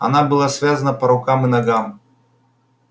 она была связана по рукам и ногам